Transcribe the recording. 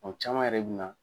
O caman yɛrɛ bɛna.